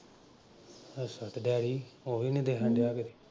ਅੱਛਾ ਤੇ ਡੈਡੀ ਉਹ ਵੀ ਨਈਂ ਦਿੱਖਣ ਡਿਆ ਕਿਤੇ?